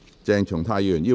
鄭松泰議員反對。